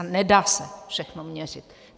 A nedá se všechno měřit.